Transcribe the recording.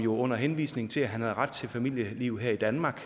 under henvisning til at han havde ret til familieliv her i danmark